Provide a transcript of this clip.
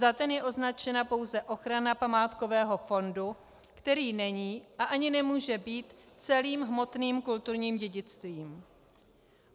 Za ten je označena pouze ochrana památkového fondu, který není a ani nemůže být celým hmotným kulturním dědictvím.